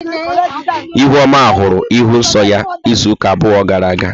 Ihuoma hụrụ ịhụ nsọ ya izuụka abụọ gara aga.